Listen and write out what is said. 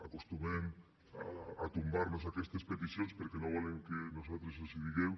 acostumen a tombar nos aquestes peticions perquè no volen que nosaltres els ho diguem